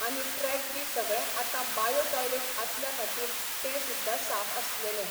आनी ट्रॅक बी सगळें आतां बायो टॉयलेट आसल्या खातीर ते सुद्दां साफ आसलेले.